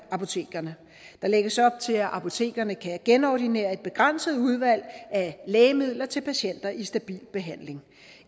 apotekerne der lægges op til at apotekerne kan genordinere et begrænset udvalg af lægemidler til patienter i stabil behandling